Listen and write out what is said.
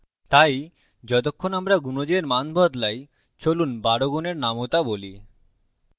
তাই যতক্ষণ আমরা গুনজের মান বদলাইচলুন 12 গুনের নামতা বলি